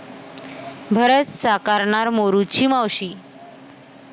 भरत साकारणार 'मोरूची मावशी'